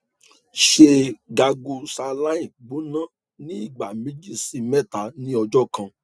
ṣe gargle saline gbona ni igba meji si mẹta ni ọjọ kan